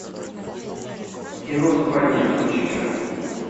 кино западня включи ка